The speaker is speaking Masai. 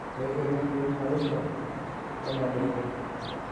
Eitu ina tim orusa lenaidurra